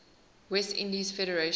west indies federation